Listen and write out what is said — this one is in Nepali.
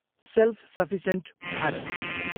Self sufficient Bharat.